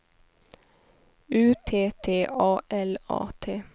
U T T A L A T